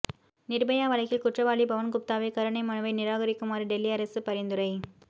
நிர்பயா வழக்கில் குற்றவாளி பவன் குப்தாவின் கருணை மனுவை நிராகரிக்குமாறு டெல்லி அரசு பரிந்துரை